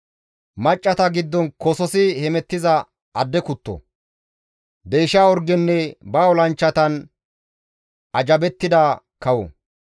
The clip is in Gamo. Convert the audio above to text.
Maccassata giddon kososi hemettiza adde kutto, deysha orgenne ba olanchchatan ajjabettida kawo.